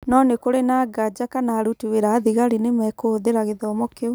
No nĩ kũrĩ na nganja kana aruti wĩra a thigari nĩ mekũhũthĩra gĩthomo kĩu.